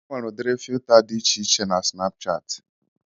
Enwere udiri fịuta dị iche iche na Snapuchatị